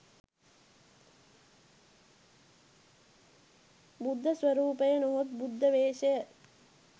බුද්ධ ස්වරූපය නොහොත් බුද්ධ වේශය